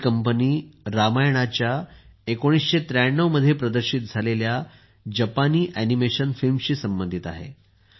ही company रामायणाच्या 1993 मध्ये प्रदर्शित झालेल्या जपानी ऍनिमेशन फिल्मशी संबंधित आहे